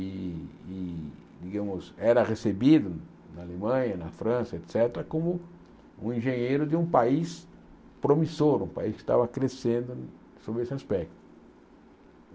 e e íamos era recebido na Alemanha, na França, et cétera, como um engenheiro de um país promissor, um país que estava crescendo sob esse aspecto.